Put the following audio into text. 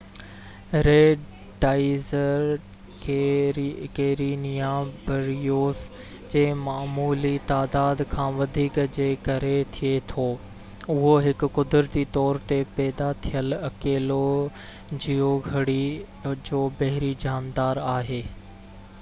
red tides Karenia brevis جي معمولي تعداد کان وڌيڪ جي ڪري ٿئي ٿو اهو هڪ قدرتي طور تي پيدا ٿيل اڪيلي جيوگهرڙي جو بحري جاندار آهي